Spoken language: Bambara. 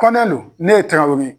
Kɔnɛ lon ne ye tarawelele ye